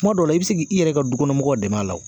Kuma dɔw la i bi se ki i yɛrɛ ka dukɔnɔ mɔgɔw dɛmɛn a la.